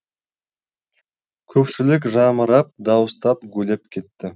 көпшілік жамырап дауыстап гулеп кетті